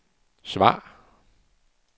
svar